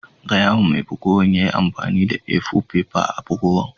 Gaya ma mai bugowan ya yi amfani da A-four fefa a'bugowan.